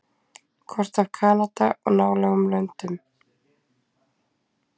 kort af kanada og nálægum löndum